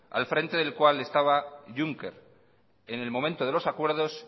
al frente del cual estaba juncker en el momento de los acuerdos